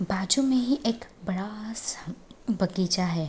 बाजू में ही एक बड़ा सा बगीचा है।